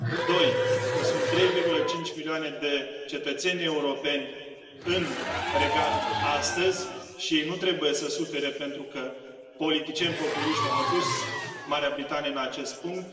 În al doilea rând sunt 3,5 milioane de cetățeni europeni în Regat astăzi și ei nu trebuie să sufere pentru că politicieni populiști au adus Marea Britanie în acest punct.